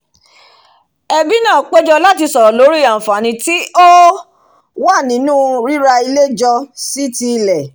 ẹbí náà péjọ láti sọ̀rọ̀ lórí àànfàní tí ó wà nínu ríra ilé jọ sí ti ilẹ̀